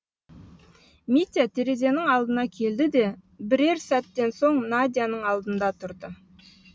митя терезенің алдына келді де бірер сәттен соң надяның алдында тұрды